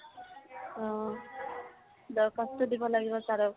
অহ। দৰ্খাস্ত দিব লাগিব sir ক ।